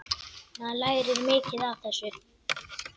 Maður lærir mikið af þessu.